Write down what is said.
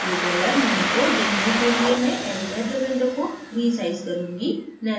nanotube builder menu को देखने के लिए मैं avogadro window को resize करुँगी